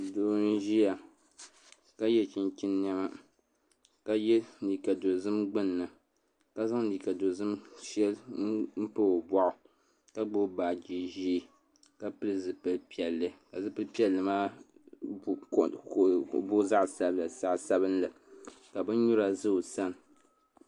Doo n ʒiya ka yɛ chinchin niɛma ka yɛ liiga dozim gbunni ka zaŋ liiga dozim shɛli n pa o boɣu ka gbubi baaji ƶiɛ ka pili zipili piɛlli ka di booi zaɣ sabila ka bin nyura ʒɛ o sani